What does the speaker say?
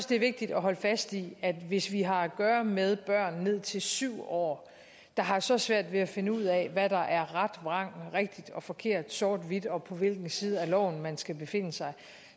det er vigtigt at holde fast i at hvis vi har at gøre med børn ned til syv år der har så svært ved at finde ud af hvad der er ret og vrang rigtigt og forkert sort og hvidt og på hvilken side af loven man skal befinde sig